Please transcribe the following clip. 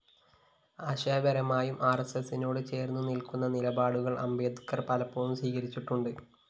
ആശയപരമായും ആര്‍എസ്എസിനോട് ചേര്‍ന്നുനില്‍ക്കുന്ന നിലപാടുകള്‍ അംബേദ്കര്‍ പലപ്പോഴും സ്വീകരിച്ചിട്ടുണ്ട്